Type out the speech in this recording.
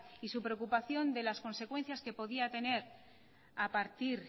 y su preocupación de las consecuencias que podía tener a partir